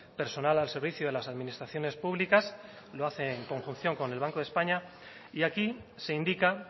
personal al servicio de las administraciones públicas lo hace en conjunción con el banco de españa y aquí se indica